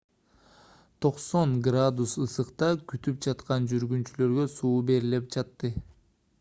90 f градус ысыкта күтүп жаткан жүргүнчүлөргө суу берилип жатты